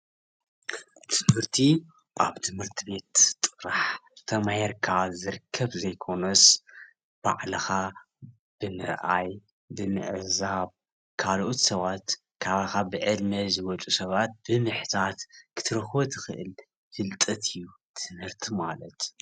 ትምህርቲ አብ ትምህርቲ ቤት ጥራሕ ተማሂርካ ዝርከብ ዘይኮነስ፤ ባዕልካ ብምርአይ፣ ብምዕዛብ፣ ካልኦት ሰባት ካባካ ብዕድመ ዝበልፁ ሰባት ብምሕታት ክትረክቦ ትክእል ፍልጠት እዩ ትምህርቲ ማለት፡፡